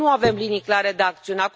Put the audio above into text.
Nu avem linii clare de acțiune.